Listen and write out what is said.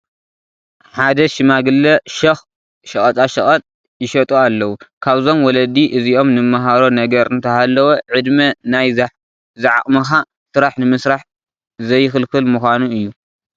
ሓደ ሽማግለ ሸኽ ሸቐጣ ሸቐጥ ይሸጡ ኣለዉ፡፡ ካብዞም ወላዲ እዚኦም ንመሃሮ ነገር እንተሃለወ ዕድመ ናይ ዝዓቕምኻ ስራሕ ንምስራሕ ዘይኽልክል ምዃኑ እዩ፡፡